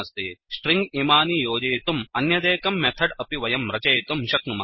string इमानि योजयितुम् अन्यदेकं मेथड् अपि वयं रचयितुं शक्नुमः